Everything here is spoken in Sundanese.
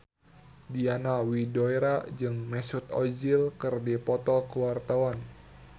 Diana Widoera jeung Mesut Ozil keur dipoto ku wartawan